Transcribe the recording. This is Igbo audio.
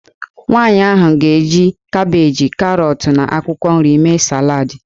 Nwaanyị ahụ ga-eji kabeeji, karọt, na akwụkwọ nri mee salad.